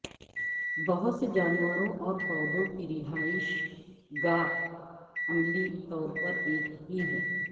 بہت سے جانوروں اور پودوں کی رہائش گاہ عملی طور پر ایک ہی ہیں